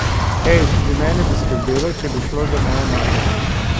Hej, tudi mene bi skrbelo, če bi šlo za mojo mater!